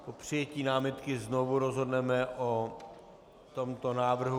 Po přijetí námitky znovu rozhodneme o tomto návrhu.